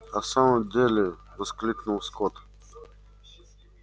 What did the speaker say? а в самом деле воскликнул скотт